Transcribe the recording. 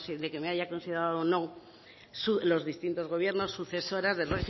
de que me haya considerado o no los distintos gobiernos sucesora del